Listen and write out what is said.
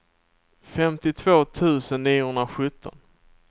femtiotvå tusen niohundrasjutton